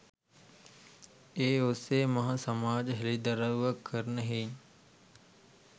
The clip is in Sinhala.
ඒ ඔස්සේ මහා සමාජ හෙලිදරව්වක් කරන හෙයිනි